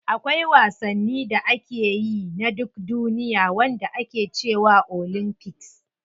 Akwai wasanni da ake yi na duk duniya wanda ake cewa olympics.